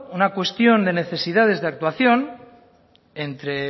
una cuestión de necesidades de actuación entre